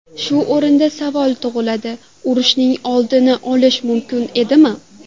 Shu o‘rinda savol tug‘iladi: urushning oldini olish mumkin edimi?